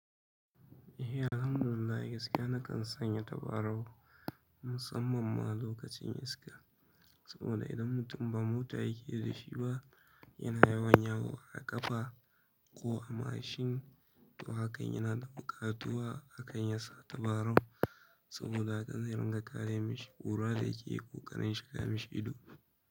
Eh alhamdulillahi gaskiya nakan sanya tabarau musamman ma lokacin iska. Saboda idan mutum ba mota yake da shi ba yana yawan yawo a ƙafa ko a mashin to haka yana da buƙatuwa akan ya sa tabarau saboda haka zai riga kare mashi ƙura da yake ko ƙarin shiga mashi ido.